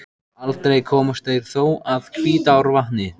Aldrei komust þeir þó að Hvítárvatni.